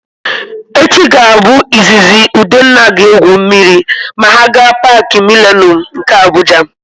Echi ga-abụ izizi Udenna ga-egwu mmiri ma ha gaa Paakị Milenum nke Abuja.